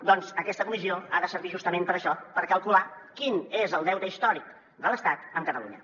doncs aquesta comissió ha de servir justament per a això per calcular quin és el deute històric de l’estat amb catalunya